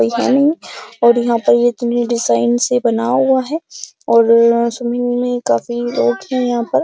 कोई है नहीं और यहाँ पर ये इतनी डिजाईन से बना हुआ है और स्विमिंग में काफी लोग हैं यहाँ पर।